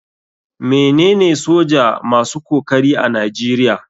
Me nene soja masu kokari a nigeria.